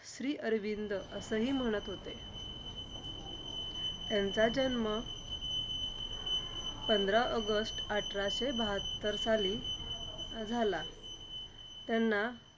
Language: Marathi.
श्री अरविंद असंहि म्हणत होते. त्यांचा जन्म पंधरा ऑगस्ट अठराशे बहात्तर साली झाला. त्यांना